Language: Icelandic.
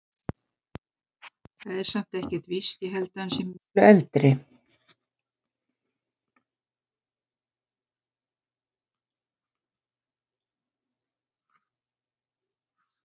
Það er samt ekkert víst. ég held að hann sé miklu eldri.